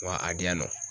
Wa a di yan nɔ